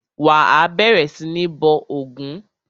Wà á bẹ̀rẹ̀ sí ní bọ ògún!